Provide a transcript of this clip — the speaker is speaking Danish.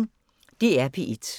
DR P1